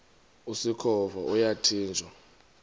usikhova yathinjw a